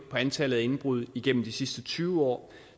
antallet af indbrud igennem de sidste tyve år